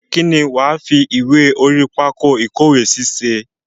Kín ni wàá fi ìwé orí pákó ìkówèésí ṣe?